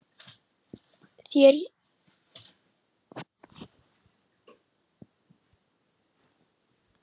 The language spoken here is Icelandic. Þeir hétu Gulltoppur, Baldur og Karlsefni.